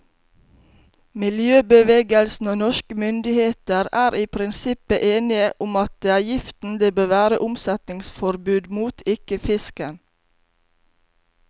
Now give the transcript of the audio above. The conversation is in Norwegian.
Miljøbevegelsen og norske myndigheter er i prinsippet enige om at det er giften det bør være omsetningsforbud mot, ikke fisken.